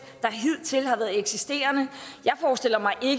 der hidtil har været eksisterende